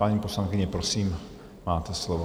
Paní poslankyně, prosím, máte slovo.